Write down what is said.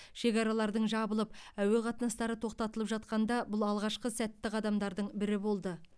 шекаралардың жабылып әуе қатынастары тоқтатылып жатқанда бұл алғашқы сәтті қадамдардың бірі болды